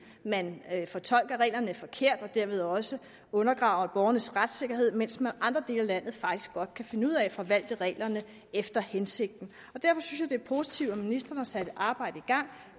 man fortolker reglerne forkert og derved også undergraver borgernes retssikkerhed mens man i andre dele af landet faktisk godt kan finde ud af at forvalte reglerne efter hensigten derfor synes jeg positivt at ministeren har sat et arbejde i gang